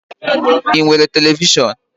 I nwere televishọn?